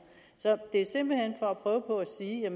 så det er simpelt hen for at prøve på at sige at